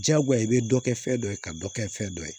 Diyagoya i bɛ dɔ kɛ fɛn dɔ ye ka dɔ kɛ fɛn dɔ ye